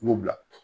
I b'o bila